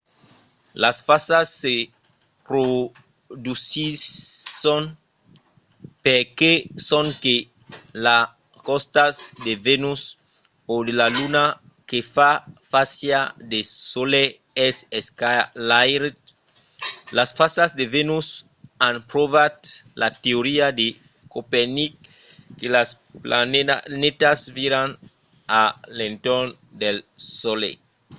las fasas se produsisson perque sonque lo costat de vènus o de la luna que fa fàcia al solelh es esclairat. las fasas de vènus an provat la teoria de copernic que las planetas viran a l'entorn del solelh